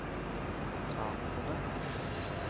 notatene